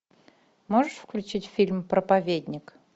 можешь включить фильм проповедник